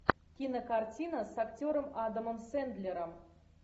кинокартина с актером адамом сэндлером